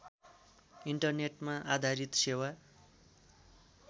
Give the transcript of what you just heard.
इन्टरनेटमा आधारित सेवा